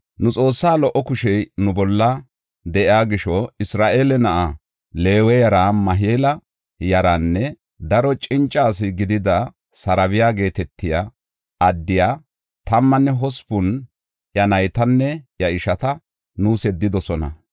Nu Xoossa lo77o kushey nu bolla de7iya gisho, Isra7eele na7a Leewe yara Mahila yaranne daro cinca asi gidida Sarebaya geetetiya addiya tammanne hospun iya naytanne iya ishata, nuus yeddidosona.